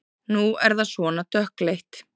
Nú er það svona dökkleitt!